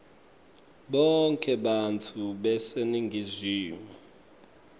bonkhe bantfu baseningizimu